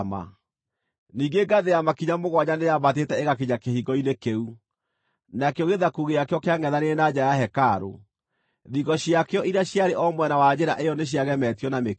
Ningĩ ngathĩ ya makinya mũgwanja nĩyaambatĩte ĩgakinya kĩhingo-inĩ kĩu, nakĩo gĩthaku gĩakĩo kĩangʼethanĩire na nja ya hekarũ; thingo ciakĩo iria ciarĩ o mwena wa njĩra ĩyo nĩciagemetio na mĩkĩndũ.